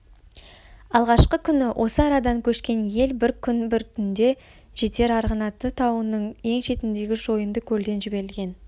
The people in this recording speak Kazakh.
алғашқы күні осы арадан көшкен ел бір күн бір түнде жетер арғынаты тауының ең шетіндегі шойынды көлден жіберілген